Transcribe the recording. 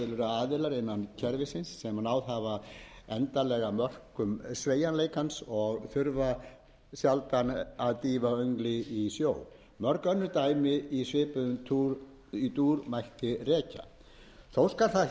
að til eru aðilar innan kerfis sem náð hafa endanlegu mörkum sveigjanleikans og þurfa aldrei að dýfa engu í sjó mörg önnur dæmi í svipuðum dúr mætti rekja mín skoðun